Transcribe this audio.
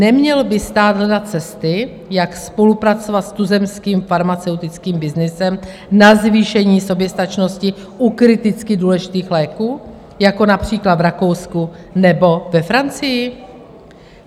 Neměl by stát hledat cesty, jak spolupracovat s tuzemským farmaceutickým byznysem na zvýšení soběstačnosti u kriticky důležitých léků, jako například v Rakousku nebo ve Francii?